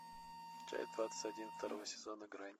часть двадцать один второго сезона грань